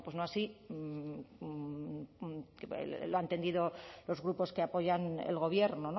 bueno pues no así lo han entendido los grupos que apoyan el gobierno